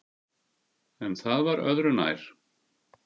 En það var öðu nær.